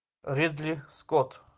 ридли скотт